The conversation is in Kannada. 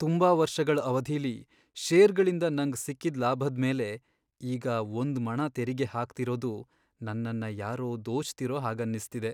ತುಂಬಾ ವರ್ಷಗಳ್ ಅವಧಿಲಿ ಷೇರ್ಗಳಿಂದ ನಂಗ್ ಸಿಕ್ಕಿದ್ ಲಾಭದ್ಮೇಲೆ ಈಗ ಒಂದ್ಮಣ ತೆರಿಗೆ ಹಾಕ್ತಿರೋದು ನನ್ನನ್ನ ಯಾರೋ ದೋಚ್ತಿರೋ ಹಾಗನ್ನಿಸ್ತಿದೆ.